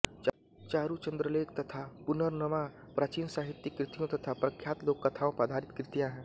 चारुचंद्रलेख तथा पुनर्नवा प्राचीन साहित्यिक कृतियों तथा प्रख्यात् लोकथाओं पर आधृत कृतियाँ हैं